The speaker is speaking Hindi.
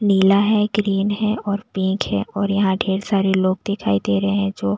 नीला है ग्रीन है और पिंक है और यहाँ ढेर सारे लोग दिखाई दे रहे हैं जो--